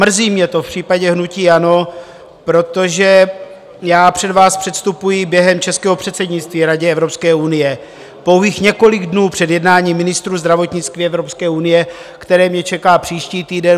Mrzí mě to v případě hnutí ANO, protože já před vás předstupuji během českého předsednictví Radě Evropské unie pouhých několik dnů před jednáním ministrů zdravotnictví Evropské unie, které mě čeká příští týden.